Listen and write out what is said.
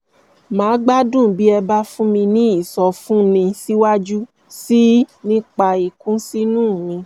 màá gbádùn bí ẹ bá fún mi ní ìsọfúnni síwájú sí i nípa ìkùnsínú mi